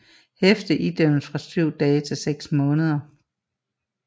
Hæfte idømmes fra 7 dage til 6 måneder